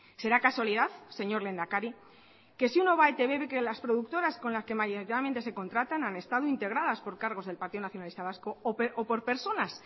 será casualidad señor lehendakari que si uno va a etb ve que las productoras con las que mayoritariamente se contratan han estado integradas por cargos del partido nacionalista vasco o por personas